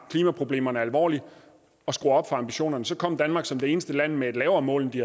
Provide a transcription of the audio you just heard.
klimaproblemerne alvorligt og skrue ambitionerne så kom danmark som det eneste land med et lavere mål end vi